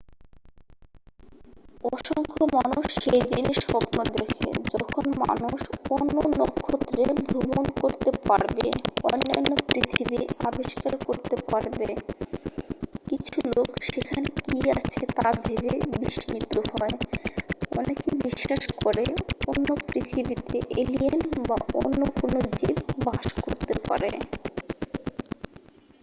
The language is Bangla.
অসংখ্য মানুষ সেই দিনের স্বপ্ন দেখে যখন মানুষ অন্য নক্ষত্রে ভ্রমন করতে পারবে অন্যান্য পৃথিবী আবিষ্কার করতে পারব কিছু লোক সেখানে কি আছে তা ভেবে বিস্মিত হয় অনেকে বিশ্বাস করে অন্য পৃথিবীতে এলিয়েন বা অন্য কোন জীব বাস করতে পারে